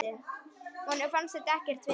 Honum fannst þetta ekkert fyndið.